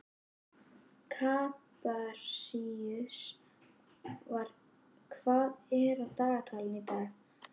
Kaprasíus, hvað er á dagatalinu í dag?